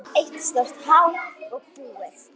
Eitt stórt há og búið.